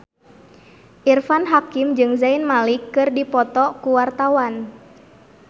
Irfan Hakim jeung Zayn Malik keur dipoto ku wartawan